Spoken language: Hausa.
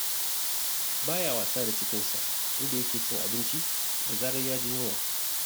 Ba ya wasa da cikinsa, inda yake cin abinci da zarar ya ji yunwa.